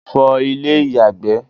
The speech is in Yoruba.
fọ ilé ìyàgbẹ́